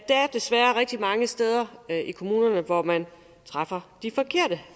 desværre rigtig mange steder i kommunerne hvor man træffer de forkerte